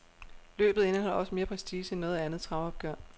Løbet indeholder også mere prestige end noget andet travopgør.